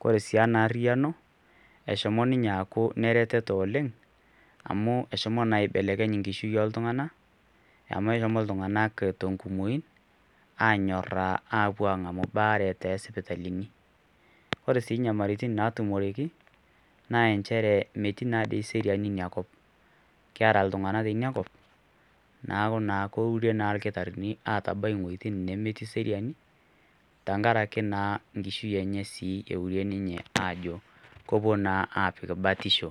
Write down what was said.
kore sii ena ariano eshomo ninye aaku ne reteto oleng amuu eshomo naa aibelekenya inkishui oltungana amu eshomo ltunganak te kumoii anyoraa aapo aaaret esipitalini, ore sii inyamalirritni natumoreki naa inchere metii naa dei seriani inakop ,keara ltungana tenia kop naaku naa keure naa lkitarini aatabai wejitin nemetii seriani tengaraki naa nkishui enye sii eure ninye aajo kepo naa aapik batisho.